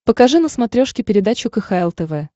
покажи на смотрешке передачу кхл тв